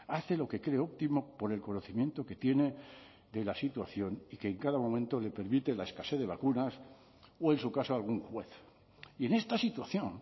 hace lo que cree óptimo por el conocimiento que tiene de la situación y que en cada momento le permite la escasez de vacunas o en su caso algún juez y en esta situación